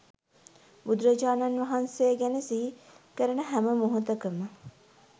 බුදුරජාණන් වහන්සේ ගැන සිහි කරන හැම මොහොතකම